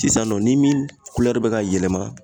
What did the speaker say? Sisan nɔ ni min kulɛri be ka yɛlɛma